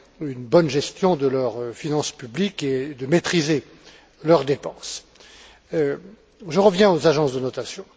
une bonne gestion de leurs finances publiques et de maîtriser leurs dépenses. J'en reviens aux agences de notation.